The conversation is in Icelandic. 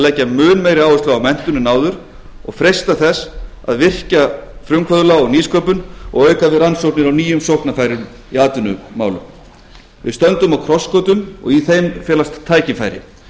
leggja mun meiri áherslu á menntun en áður og freista þess að virkja frumkvöðla og nýsköpun og auka við rannsóknir á nýjum sóknarfærum í atvinnumálum við stöndum á krossgötum á þeim felast tækifæri